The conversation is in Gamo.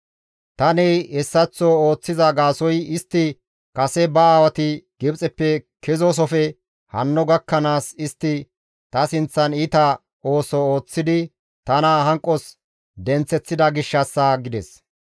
Tani hessaththo ooththiza gaasoykka istti kase ba aawati Gibxeppe kezoosofe hanno gakkanaas istti ta sinththan iita ooso ooththidi tana hanqos denththeththida gishshassa» gides.